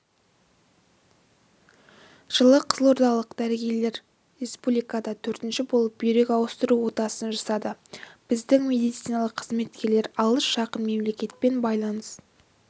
жылы қызылордалық дәрігерлер республикада төртінші болып бүйрек ауыстыру отасын жасады біздің медициналық қызметкерлер алыс-жақын мемлекетпен байланыс